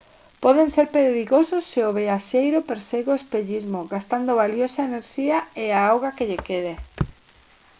poden ser perigosos se o viaxeiro persegue o espellismo gastando valiosa enerxía e a auga que lle quede